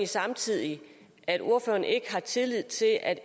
samtidig at ordføreren ikke har tillid til at